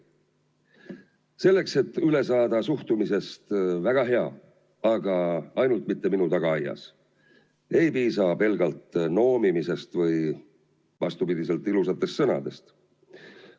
Selleks et üle saada suhtumisest "väga hea, aga ainult mitte minu tagaaias", ei piisa pelgalt noomimisest või vastupidi, ilusatest sõnadest.